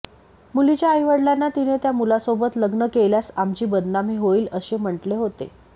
मुलीच्या आईवडिलांना तिने त्या मुलासोबत लग्न केल्यास आमची बदनामी होईल असे म्हटले होते